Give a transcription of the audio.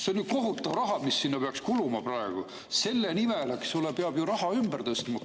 See on ju kohutav raha, mis sinna peaks kuluma praegu, ja selle nimel, eks ole, peab ju raha ümber tõstma!